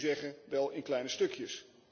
Ik moet u zeggen, wel in kleine stukjes.